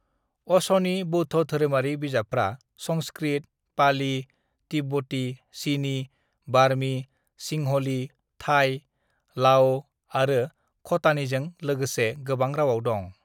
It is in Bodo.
"अशनि बौद्ध धोरोमारि बिजाबफ्रा संस्कृत, पाली, तिब्बती, चीनी, बार्मी, सिंहली, थाई, लाओ आरो ख'टानीजों लागोसे गोबां रावआव दं।"